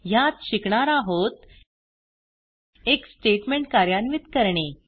ह्यात शिकणार आहोत एक स्टेटमेंट कार्यान्वित करणे